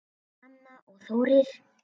Anna og Þórir.